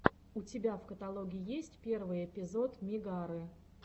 у тебя в каталоге есть первый эпизод мегары